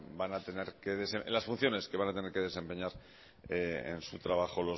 van a tener las funciones que van a tener que desempeñar en su trabajo